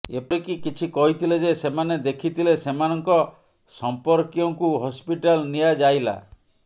ଏପରିକି କିଛି କହିଥିଲେ ଯେ ସେମାନେ ଦେଖିଥିଲେ ସେମାନଙ୍କ ସଂପର୍କିୟଙ୍କୁ ହସ୍ପିଟାଲ ନିଆଯାଇଲା